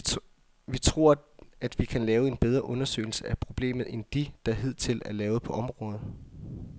Vi tror, at vi kan lave en bedre undersøgelse af problemet end de, der hidtil er lavet på området.